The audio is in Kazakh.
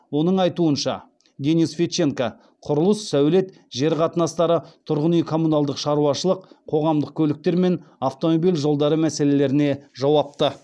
оның айтуынша денис федченко құрылыс сәулет жер қатынастары тұрғын үй коммуналдық шаруашылық қоғамдық көліктер мен автомобиль жолдары мәселелеріне жауапты